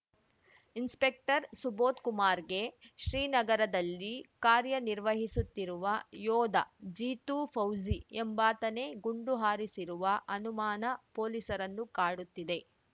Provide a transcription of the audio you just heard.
inspector ಸುಬೋಧ್‌ಕುಮಾರ್‌ಗೆ ಶ್ರೀನಗರದಲ್ಲಿ ಕಾರ್ಯನಿರ್ವಹಿಸುತ್ತಿರುವ ಯೋಧ ಜೀತು ಫೌಜಿ ಎಂಬಾತನೇ ಗುಂಡು ಹಾರಿಸಿರುವ ಅನುಮಾನ ಪೊಲೀಸರನ್ನು ಕಾಡುತ್ತಿದೆ